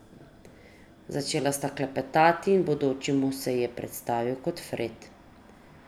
Začela sta klepetati in bodoči mož se ji je predstavil kot Fred.